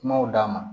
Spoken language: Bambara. Kumaw d'a ma